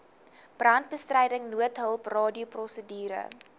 brandbestryding noodhulp radioprosedure